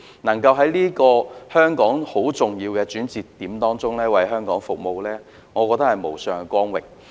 能夠在香港這個很重要的轉折點為它服務，我認為是無上的光榮。